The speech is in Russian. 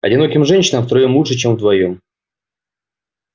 одиноким женщинам втроём лучше чем вдвоём